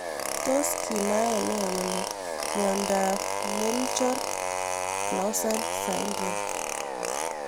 Tos kinae nee kole miondop Dyggve Melchior Clausen syndrome.